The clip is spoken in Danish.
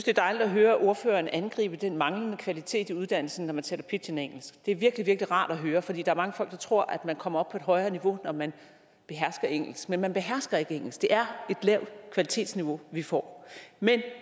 er dejligt at høre ordføreren angribe den manglende kvalitet i uddannelsen når man taler pidginengelsk det er virkelig virkelig rart at høre for der er mange folk der tror at man kommer op på et højere niveau når man behersker engelsk men man behersker ikke engelsk det er et lavt kvalitetsniveau vi får men det